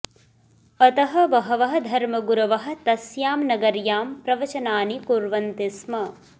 अतः बहवः धर्मगुरवः तस्यां नगर्यां प्रवचनानि कुर्वन्ति स्म